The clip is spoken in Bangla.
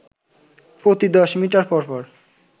প্রতি দশ মিটার পর পর